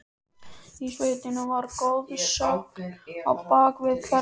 Í sveitinni var goðsögn á bak við hvern mann.